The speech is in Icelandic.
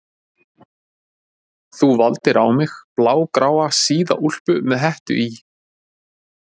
Þú valdir á mig blágráa síða úlpu með hettu í